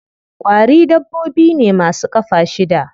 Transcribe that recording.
Ƙwari dabbobi ne ma su ƙafa shida.